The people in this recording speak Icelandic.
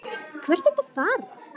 Hvert ertu að fara?